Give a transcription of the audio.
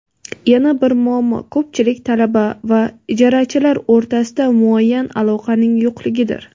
Yana bir muammo ko‘pchilik talaba va ijarachilar o‘rtasida muayyan aloqaning yo‘qligidir.